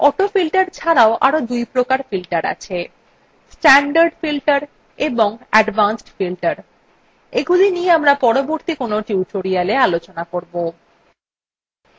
autofilter ছাড়াও আরো দুইপ্রকার filter আছেstandard filter এবং advanced filter এগুলি নিয়ে আমরা পরবর্তী কোনো টিউটোরিয়ালwe আলোচনা করবো